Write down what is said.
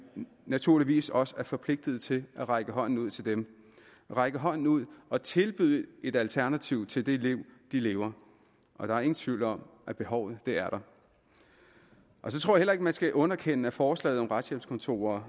naturligvis også er forpligtet til at række hånden ud til dem række hånden ud og tilbyde et alternativ til det liv de lever og der er ingen tvivl om at behovet er der så tror jeg at man skal underkende at forslaget om retshjælpskontorer